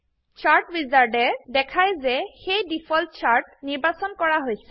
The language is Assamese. চাৰ্ট উইজাৰ্ড এ দেখাই যে সেই ডিফল্ট চাৰ্ট নিৰ্বাচন কৰা হৈছে